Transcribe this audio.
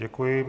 Děkuji.